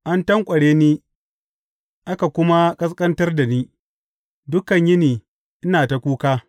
An tanƙware ni aka kuma ƙasƙantar da ni; dukan yini ina ta kuka.